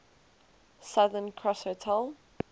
southern cross hotel